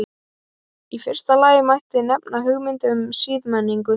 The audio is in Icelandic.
Í fyrsta lagi mætti nefna hugmyndina um siðmenningu.